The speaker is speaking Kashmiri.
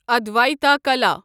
ادوایتا کَلا